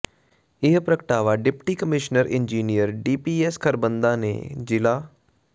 ਇਹ ਪ੍ਰਗਟਾਵਾ deputy commissioner engineer DPS Kharbanda ਨੇ ਜ਼ਿਲ੍ਹਾ ਪ੍